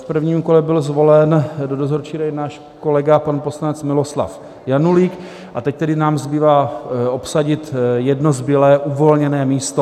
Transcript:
V prvním kole byl zvolen do dozorčí rady náš kolega, pan poslanec Miloslav Janulík, a teď tedy nám zbývá obsadit jedno zbylé uvolněné místo.